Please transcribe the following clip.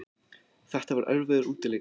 Þetta var erfiður útileikur